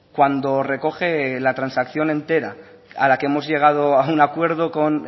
cuando recoge la transacción entera a la que hemos llegado a un acuerdo con